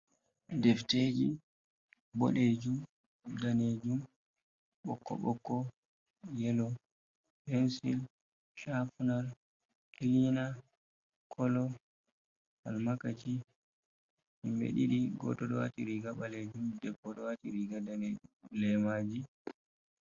Defteeji, boɗeejum, daneejum, ɓokko-ɓokko, yelo, pensil, shafina, klina, kolo, almakaci, himɓe ɗiɗi, Go'oto ɗo waɗi riiga ɓaleejum, debbo ɗo waɗi riiga daneejum, leemaaji.